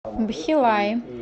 бхилаи